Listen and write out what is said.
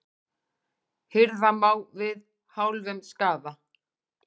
Hirða má við hálfum skaða.